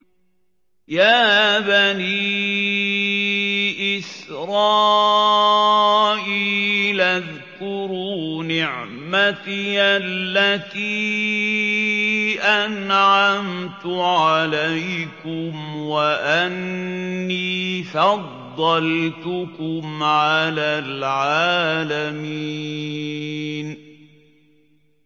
يَا بَنِي إِسْرَائِيلَ اذْكُرُوا نِعْمَتِيَ الَّتِي أَنْعَمْتُ عَلَيْكُمْ وَأَنِّي فَضَّلْتُكُمْ عَلَى الْعَالَمِينَ